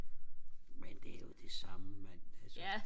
men det er jo det samme mand altså